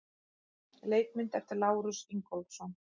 Leikmynd eftir Lárus Ingólfsson.